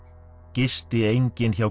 gisti enginn hjá